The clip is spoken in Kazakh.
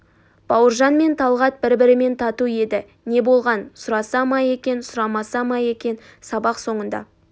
бауыржан мен талғат бір-бірімен тату еді не болған сұраса ма екен сұрамаса ма екен сабақ соңында